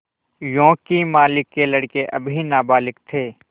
योंकि मालिक के लड़के अभी नाबालिग थे